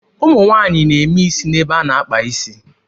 Ụmụ nwaanyị na-eme isi n'ebe a na-akpa is.